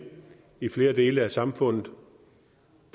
i flere dele af samfundet